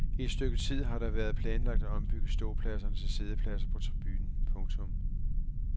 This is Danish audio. I et stykke tid har det været planlagt at ombygge ståpladserne til siddepladser på tribunen. punktum